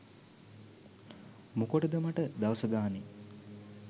මොකද මට දවස ගානේ